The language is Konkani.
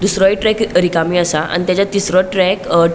दुसरोय ट्रैक रिकामी असा आणि तेचा तीसरो ट्रैक --